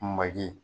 Maji